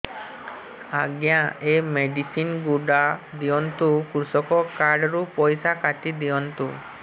ଆଜ୍ଞା ଏ ମେଡିସିନ ଗୁଡା ଦିଅନ୍ତୁ କୃଷକ କାର୍ଡ ରୁ ପଇସା କାଟିଦିଅନ୍ତୁ